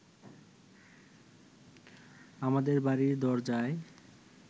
আমাদের বাড়ির দরজায়